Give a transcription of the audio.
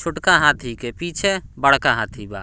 छोटका हाथी के पीछे बड़का हाथी बा।